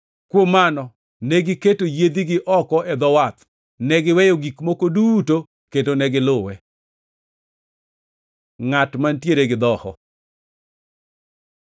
Kuom mano negiketo yiedhigi oko e dho wath, negiweyo gik moko duto kendo ne giluwe. Ngʼat mantiere gi dhoho